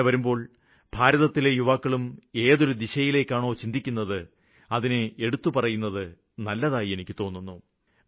അങ്ങിനെ വരുമ്പോള് ഭാരതത്തിലെ യുവാക്കളും ഏതൊരു ദിശയിലേക്കാണോ ചിന്തിക്കുന്നത് അതിനെ എടുത്തു പറയുന്നത് നല്ലതായി എനിക്ക് തോന്നുന്നു